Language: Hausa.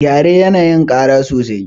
Gyare yana yin ƙara sosai.